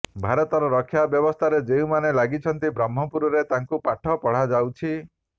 ଭାରତର ରକ୍ଷା ବ୍ୟବସ୍ଥାରେ ଯେଉଁମାନେ ଲାଗିଛନ୍ତି ବ୍ରହ୍ମପୁରରେ ତାକୁ ପାଠ ପଢାଯାଉଛି